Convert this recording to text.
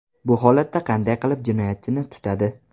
Bu holatda qanday qilib jinoyatchini tutadi?